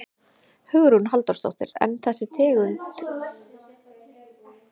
Hugrún Halldórsdóttir: En er þessi tegund ekki hættulegri en önnur hundategund?